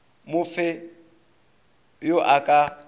mo fe yo a ka